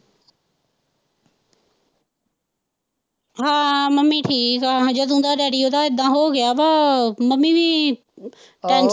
ਹਾਂ ਮੰਮੀ ਠੀਕ ਆ ਜਦੋਂ ਦਾ ਡੈਡੀ ਉਦਾ ਇਦਾ ਹੋਗਿਆ ਵਾ, ਮੰਮੀ ਵੀ।